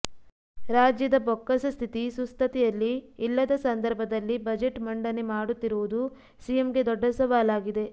ರಾಜ್ಯದ ಬೊಕ್ಕಸ ಸ್ಥಿತಿ ಸುಸ್ಥತಿಯಲ್ಲಿ ಇಲ್ಲದ ಸಂದರ್ಭದಲ್ಲಿ ಬಜೆಟ್ ಮಂಡನೆ ಮಾಡುತ್ತಿರುವುದು ಸಿಎಂಗೆ ದೊಡ್ಡ ಸವಾಲಾಗಿದೆ